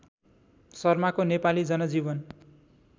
शर्माको नेपाली जनजीवन